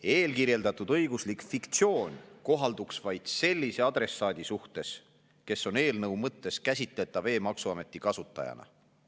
Eelkirjeldatud õiguslik fiktsioon kohalduks vaid sellise adressaadi suhtes, kes on eelnõu mõttes käsitletav e-maksuameti kasutajana.